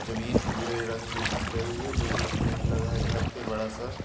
जमींन भूरे रंग की दिख रही है लोहे का गेट लगा है घर के बड़ा सा--